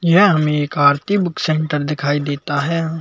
यह हमें एक आरती बुक सेंटर दिखाई देता है।